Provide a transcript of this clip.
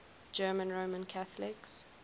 german roman catholics